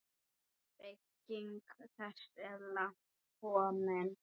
Bygging þess er langt komin.